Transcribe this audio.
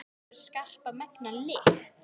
Það hefur skarpa, megna lykt.